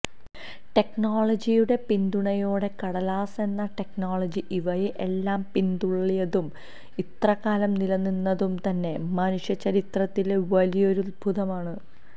ടെക്നോളജിയുടെ പിന്തുണയോടെ കടലാസ് എന്ന ടെക്നോളജി ഇവയെ എല്ലാം പിന്തള്ളിയതും ഇത്രകാലം നിലനിന്നതും തന്നെ മനുഷ്യചരിത്രത്തിലെ വലിയൊരദ്ഭുതമാണ്